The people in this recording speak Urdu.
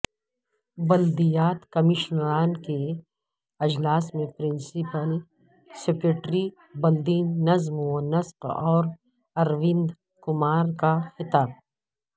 بلدیات کمشنران کے اجلاس میں پرنسپل سکریٹری بلدی نظم و نسق اروند کمار کا خطاب